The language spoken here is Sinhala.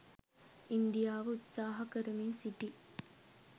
ඉන්දියාව උත්සාහ කරමින් සිටියි